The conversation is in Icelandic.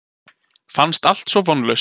Fannst allt svo vonlaust.